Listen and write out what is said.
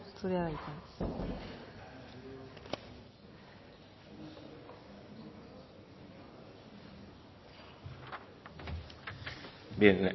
zurea da hitza bien